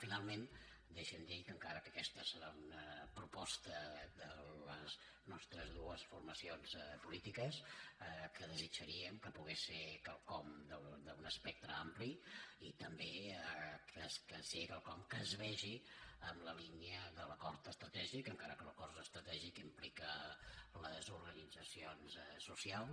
finalment deixi’m dir que encara que aquesta serà una proposta de les nostres dues formacions polítiques desitjaríem que pogués ser quelcom d’un espectre ampli i també que sigui quelcom que es vegi en la línia de l’acord estratègic encara que l’acord estratègic implica les organitzacions socials